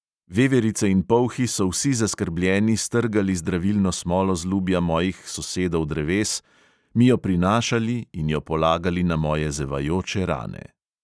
Veverice in polhi so vsi zaskrbljeni strgali zdravilno smolo z lubja mojih sosedov dreves, mi jo prinašali in jo polagali na moje zevajoče rane.